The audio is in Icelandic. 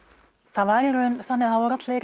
það var í raun þannig að